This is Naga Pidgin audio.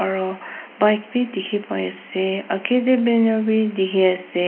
aro bike bi dikhipaiase akae tae banner bi dikhi ase.